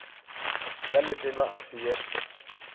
ya letena a se ye